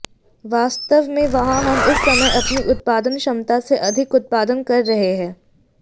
वास्तव में वहां हम इस समय अपनी उत्पादन क्षमता से अधिक उत्पादन कर रहे हैं